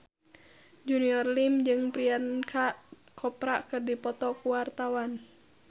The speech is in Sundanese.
Junior Liem jeung Priyanka Chopra keur dipoto ku wartawan